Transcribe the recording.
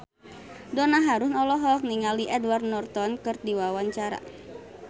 Donna Harun olohok ningali Edward Norton keur diwawancara